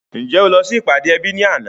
Ǹjẹ́ o lọ sí ìpàdé ẹbí ní àná?